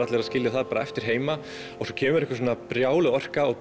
allir að skilja það eftir heima svo kemur einhver brjáluð orka og